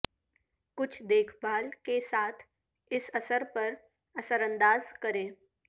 کچھ دیکھ بھال کے ساتھ اس اثر پر اثر انداز کریں